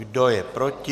Kdo je proti?